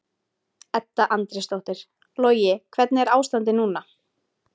Edda Andrésdóttir: Logi hvernig er ástandið núna?